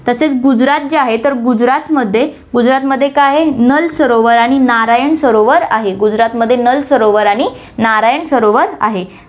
तसेच गुजरात जे आहे, तर गुजरातमध्ये, गुजरातमध्ये काय आहे, नल सरोवर आणि नारायण सरोवर आहे, गुजरातमध्ये नल सरोवर आणि नारायण सरोवर आहे.